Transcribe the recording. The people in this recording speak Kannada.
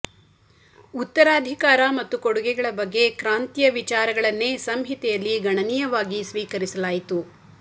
ಉತ್ತರಾಧಿಕಾರ ಮತ್ತು ಕೊಡುಗೆಗಳ ಬಗ್ಗೆ ಕ್ರಾಂತಿಯ ವಿಚಾರಗಳನ್ನೇ ಸಂಹಿತೆಯಲ್ಲಿ ಗಣನೀಯವಾಗಿ ಸ್ವೀಕರಿಸಲಾಯಿತು